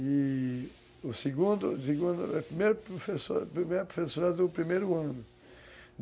E... O segundo, segundo, a primeira professora do primeiro ano.